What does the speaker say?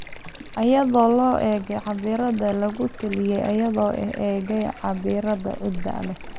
iyadoo loo eegayo cabbirada lagu taliyey iyadoo loo eegayo cabbirada ciidda ee